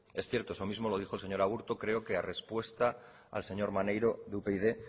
es cierto eso mismo lo dijo el señor aburto creo que ha respuesta del señor maneiro de upyd